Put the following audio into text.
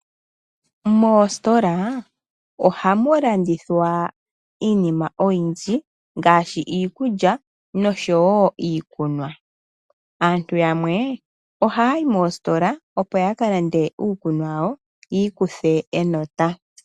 Moositola ohamu landithwa iinima oyindji ngaashi iikulya noshowoo iikunwa. Aantu yamwe ohaya yi moositola opo yaka lande iikunwa yawo yiikuthe enota.